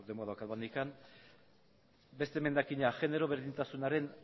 denbora daukagu oraindik beste emendakina genero berdintasunaren